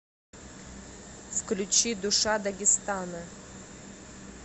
включи душа дагестана